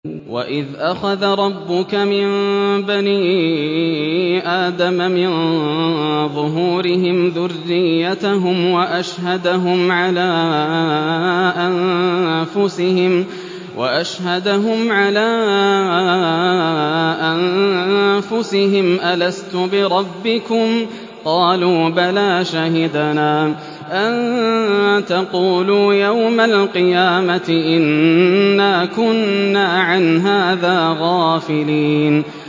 وَإِذْ أَخَذَ رَبُّكَ مِن بَنِي آدَمَ مِن ظُهُورِهِمْ ذُرِّيَّتَهُمْ وَأَشْهَدَهُمْ عَلَىٰ أَنفُسِهِمْ أَلَسْتُ بِرَبِّكُمْ ۖ قَالُوا بَلَىٰ ۛ شَهِدْنَا ۛ أَن تَقُولُوا يَوْمَ الْقِيَامَةِ إِنَّا كُنَّا عَنْ هَٰذَا غَافِلِينَ